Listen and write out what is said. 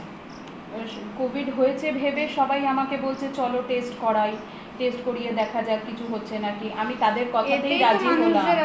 covid হয়েছে ভেবে সবাই আমাকে বলছে চলো test করাইtest করিয়ে দেখা যাক কিছু হচ্ছে নাকি আমি তাদের কথাতেই রাজি হলাম